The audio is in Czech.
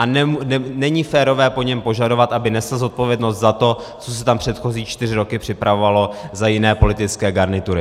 A není férové po něm požadovat, aby nesl zodpovědnost za to, co se tam předchozí čtyři roky připravovalo za jiné politické garnitury.